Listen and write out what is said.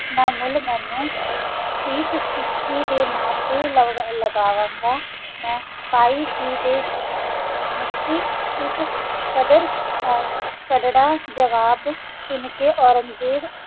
ਨਾ ਮੁਲ ਮੇਨੋ ਸਿਖ ਟਾਕੀ ਤਾ ਨਾ ਤਾ ਲਾਵਾਵਾ ਦਾ ਇਸ ਕਦਰ ਤਾਗਾਰਾ ਜਵਾਬ ਸੁਨ ਕਾ ਓਰਾਂਗ੍ਜ਼ਾਬ